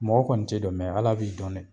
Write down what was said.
Mɔgɔ kɔni t'e dɔn Ala b'i dɔn dɛ